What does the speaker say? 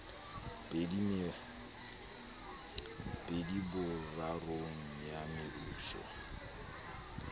pedi borarong ya mebuso eo